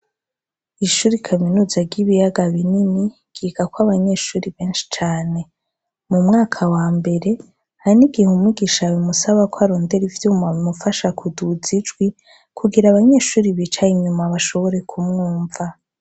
Ishure rya kaminuza ryibiyaga binini, ryigako abanyeshure benshii cane.mu mwaka wa mbere hari nigihe umwigisha bimusaba ko arondera ivyuma bimufasha kuduza ijwi kugir'abanyeahure bicaye inyuma bashobore kumwumva.